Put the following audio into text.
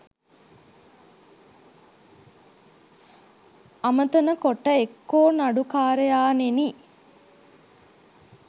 අමතන කොට එක්කෝ නඩුකාරයාණෙනි